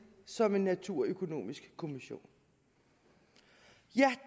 som en naturøkonomisk kommission ja